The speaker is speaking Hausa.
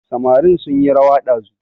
Samarin sunyi rawa ɗazu